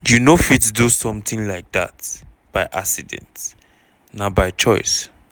you no fit do sometin like dat by accident na by choice".